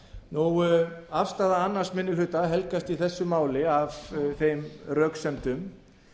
íslendinga afstaða annar minni hluta helgast í þessu máli af þeim röksemdum